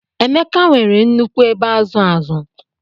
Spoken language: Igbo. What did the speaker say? Emeka nwere nnukwu ebe azu azu.